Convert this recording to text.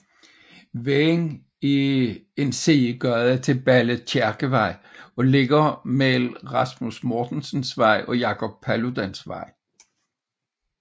Vejen er sidegade til Balle Kirkevej og ligger mellem Rasmus Mortensens Vej og Jacob Paludans Vej